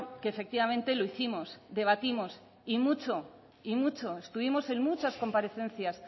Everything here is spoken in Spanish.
que efectivamente lo hicimos debatimos y mucho estuvimos en muchas comparecencias